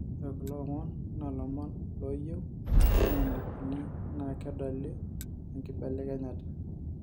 Ore kulo omon naa ilomono lloyieu neimakaini naa kedoli enkibelekenyata